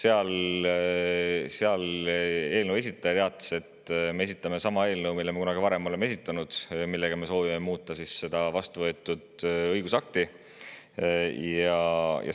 Eelnõu esitaja teatas, et nad esitasid sama eelnõu, mille nad on kunagi varem esitanud ja millega soovitakse muuta seda vastuvõetud õigusakti.